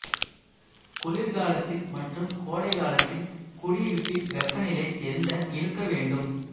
குளிர்காலத்தில் மற்றும் கோடை காலத்தில் குடியிருப்பில் வெப்பநிலை எந்த இருக்க வேண்டும்